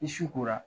Ni su kora